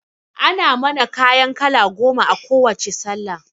Ana mana kayan kala goma a kowacce sallah